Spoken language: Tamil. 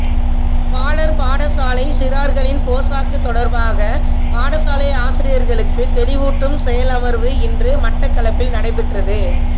பாலர் பாடசாலை சிறார்களின் போசாக்கு தொடர்பாக பாடசாலை ஆசியர்களுக்கு தெளிவூட்டும் செயலமர்வு இன்று மட்டக்களப்பில் நடைபெற்றது